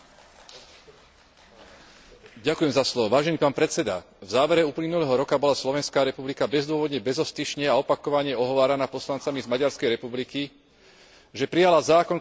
Vážený pán predseda, v závere uplynulého roka bola Slovenská republika bezdôvodne, bezostyšne a opakovane ohováraná poslancami z Maďarskej republiky, že prijala zákon, ktorý vraj siahol na práva Maďarov žijúcich na Slovensku.